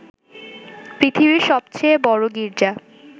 পৃথিবীর সবচেয়ে বড় গির্জা